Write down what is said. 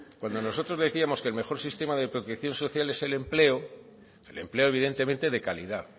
cuando nosotros decíamos que el mejor sistema de protección social es el empleo el empleo evidentemente de calidad